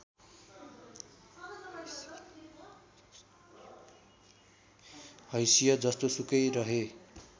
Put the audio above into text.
हैसियत जस्तोसुकै रहे